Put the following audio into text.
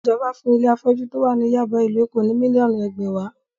Ìjọba fún ilé afọ́jú tó wà ní Yáàbá, ìlú Èkó ní mílíọ̀nù ẹgbẹ̀wàá.